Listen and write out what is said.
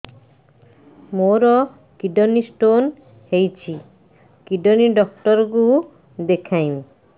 ମୋର kidney stone ହେଇଛି kidney doctor କୁ ଦେଖାଇବି